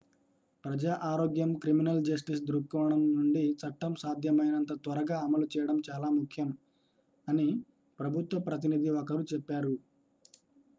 """ప్రజా ఆరోగ్యం criminal justice దృక్కోణం నుండి చట్టం సాధ్యమైనంత త్వరగా అమలు చేయడం చాలా ముఖ్యం" అని ప్రభుత్వ ప్రతినిధి ఒకరు చెప్పారు.